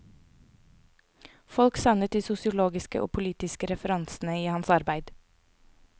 Folk savnet de sosiologiske og politiske referansene i hans arbeid.